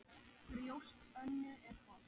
Brjóst Önnu er holt.